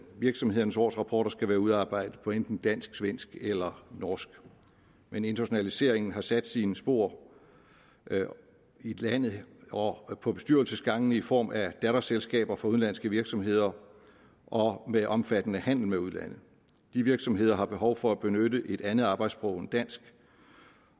virksomhedernes årsrapporter skal være udarbejdet på enten dansk svensk eller norsk men internationaliseringen har sat sine spor i landet og og på bestyrelsesgangene i form af datterselskaber for udenlandske virksomheder og med en omfattende handel med udlandet de virksomheder har behov for at benytte et andet arbejdssprog end dansk